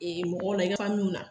Mɔgɔ la i ka na